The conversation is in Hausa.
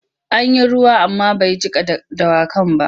An yi ruwa amma bai jiƙa dawakan ba.